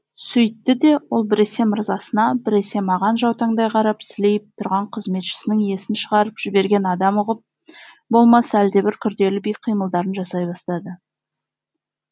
сөйтті де ол біресе мырзасына біресе маған жаутаңдай қарап сілейіп тұрған қызметшісінің есін шығарып жіберген адам ұғып болмас әлдебір күрделі би қимылдарын жасай бастады